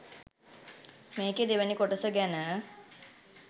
මේකේ දෙවැනි කොටස ගැන